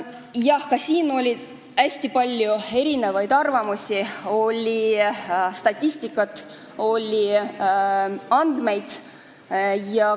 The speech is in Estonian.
Jah, ka siin oli hästi palju erinevaid arvamusi, oli statistikat, oli andmeid.